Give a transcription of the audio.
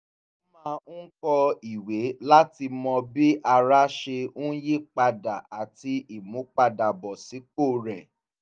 ó máa ń kọ ìwé láti mọ bí ara ṣe ń yípadà àti ìmúpadàbọ̀sípò rẹ̀